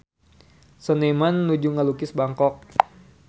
Seniman nuju ngalukis Bangkok